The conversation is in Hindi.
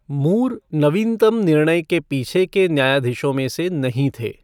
मूर नवीनतम निर्णय के पीछे के न्यायाधीशों में से नहीं थे।